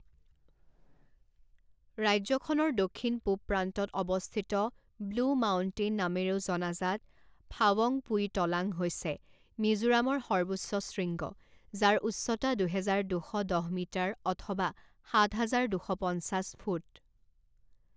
ৰাজ্যখনৰ দক্ষিণ পূব প্ৰান্তত অৱস্থিত ব্লু মাউণ্টেইন নামেৰেও জনাজাত ফাৱংপুই টলাঙ হৈছে মিজোৰামৰ সৰ্বোচ্চ শৃংগ, যাৰ উচ্চতা দুহেজাৰ দুশ দহ মিটাৰ অথবা সাত হাজাৰ দুশ পঞ্চাছ ফুট।